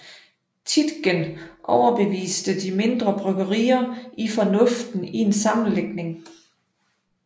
Tietgen overbevist de mindre bryggerier i fornuften i en sammenlægning